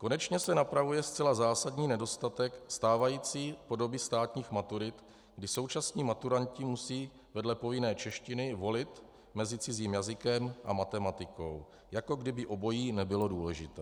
Konečně se napravuje zcela zásadní nedostatek stávající podoby státních maturit, kdy současní maturanti musí vedle povinné češtiny volit mezi cizím jazykem a matematikou, jako kdyby obojí nebylo důležité.